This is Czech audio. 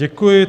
Děkuji.